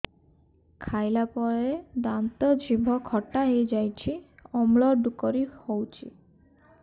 ଖାଇଲା ପରେ ଦାନ୍ତ ଜିଭ ଖଟା ହେଇଯାଉଛି ଅମ୍ଳ ଡ଼ୁକରି ହଉଛି